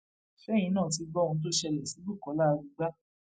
ṣẹyìn náà ti gbọ ohun tó ṣẹlẹ sí bukola arugba